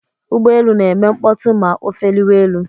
Ụgbọelu na-eme mkpọtụ ma o efeliwa elu.